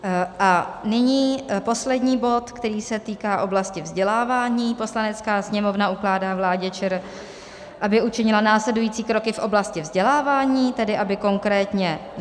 A nyní poslední bod, který se týká oblasti vzdělávání: Poslanecká sněmovna ukládá vládě ČR, aby učinila následující kroky v oblasti vzdělávání, tedy aby konkrétně